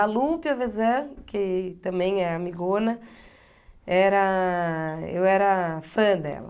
A Lupe, a Vezã, que também é amigona, era... eu era fã dela.